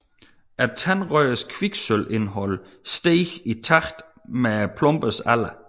Tandrøddernes kviksølvindhold steg i takt med plombernes alder